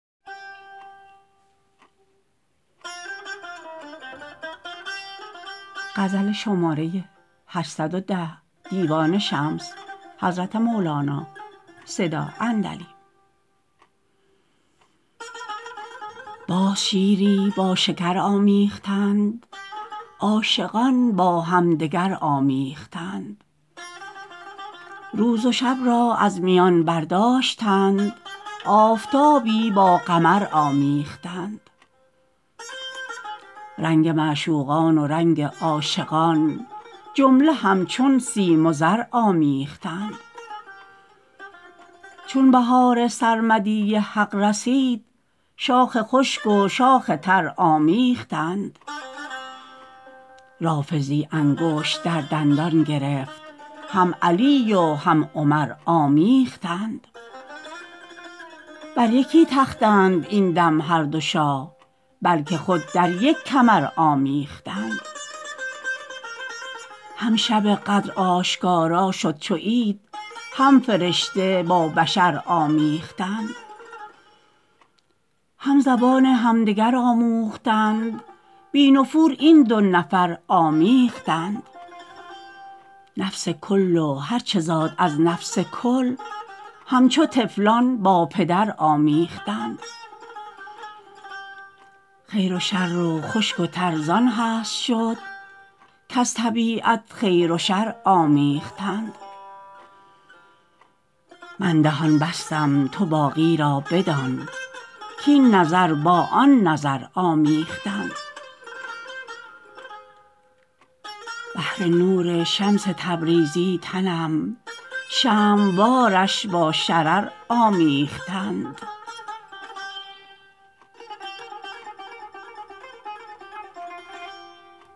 باز شیری با شکر آمیختند عاشقان با همدگر آمیختند روز و شب را از میان برداشتند آفتابی با قمر آمیختند رنگ معشوقان و رنگ عاشقان جمله همچون سیم و زر آمیختند چون بهار سرمدی حق رسید شاخ خشک و شاخ تر آمیختند رافضی انگشت در دندان گرفت هم علی و هم عمر آمیختند بر یکی تختند این دم هر دو شاه بلک خود در یک کمر آمیختند هم شب قدر آشکارا شد چو عید هم فرشته با بشر آمیختند هم زبان همدگر آموختند بی نفور این دو نفر آمیختند نفس کل و هر چه زاد از نفس کل همچو طفلان با پدر آمیختند خیر و شر و خشک و تر زان هست شد کز طبیعت خیر و شر آمیختند من دهان بستم تو باقی را بدان کاین نظر با آن نظر آمیختند بهر نور شمس تبریزی تنم شمع وارش با شرر آمیختند